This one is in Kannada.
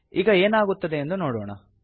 ಈಗ ಏನಾಗುತ್ತದೆ ಎಂದು ನೋಡೋಣ